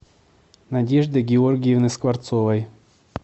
надежды георгиевны скворцовой